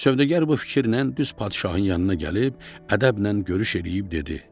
Sövdəgər bu fikirlə düz padşahın yanına gəlib ədəblə görüş eləyib dedi: